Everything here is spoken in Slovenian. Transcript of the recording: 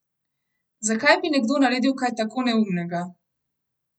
Zakaj bi nekdo naredil kaj tako neumnega?